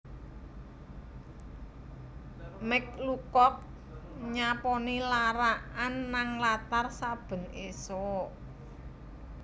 Mike Lucock nyaponi larak an nang latar saben isuk